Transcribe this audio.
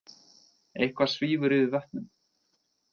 Eitthvað svífur yfir vötnum